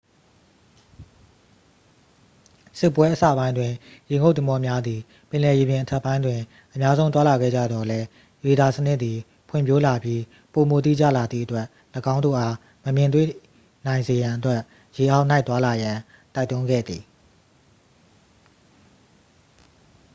စစ်ပွဲအစပိုင်းတွင် ရေငုပ်သင်္ဘောများသည် ပင်လယ်ရေပြင်အထက်ပိုင်းတွင် အများဆုံး သွားလာခဲ့ကြသော်လည်း ရေဒါစနစ်သည် ဖွံ့ဖြိုးလာပြီး ပိုမိုတိကျလာသည့်အတွက် ၎င်းတို့အား မမြင်တွေ့နိုင်စေရန်အတွက် ရေအောက်၌ သွားလာရန် တိုက်တွန်းခဲ့သည်